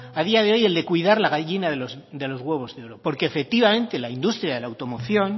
a día de hoy el de cuidar la gallina de los huevos de oro porque efectivamente la industria de la automoción